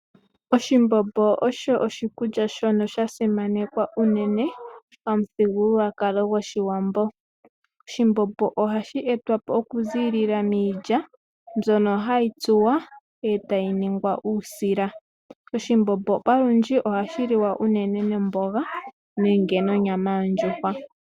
Oshimbombo osho oshikulya shono sha simanekwa unene pamuthigululwa kalo gwoshiwambo. Oshimbombo ohashi etwapo oku zilila miilya mbwono hayi tsuwa etayi ningwa uusila. Oshimbombo palundji ohashi liwa uunene nomboga nenge nonyama yondjuhwa.